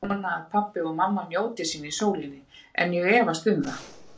Ég vona að pabbi og mamma njóti sín í sólinni, en ég efast um það.